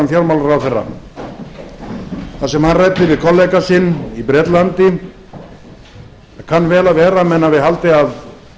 sem hann ræddi við kollega sinn í bretlandi það kann vel að vera að menn hafi haldið að